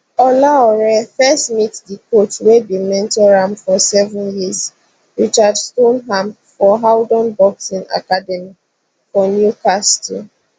olaore first meet di coach wey bin mentor am for seven years richard stoneham for howdon boxing academy for newcastle